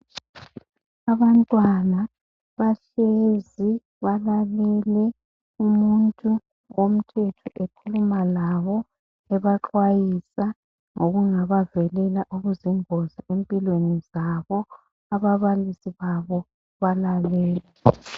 Abantwana bahlezi balalele umuntu womthetho ekhuluma labo ebaxwayisa ngokungabavelela okuzingozi empilweni zabo ababalisi babo balalele.